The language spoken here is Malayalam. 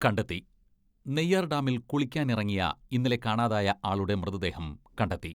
കണ്ടെത്തി നെയ്യാർഡാമിൽ കുളിക്കാനിറങ്ങിയ ഇന്നലെ കാണാതായ ആളുടെ മൃതദേഹം കണ്ടെത്തി.